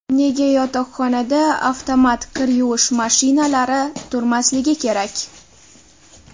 Nega yotoqxonada avtomat kir yuvish mashinalari turmasligi kerak?